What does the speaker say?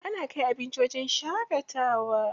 Ana kai abinci wajen shaƙatawa.